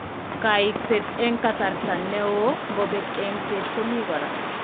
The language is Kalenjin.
Kaikset eng' kasarta neo ngobek enyishet ko mii kora.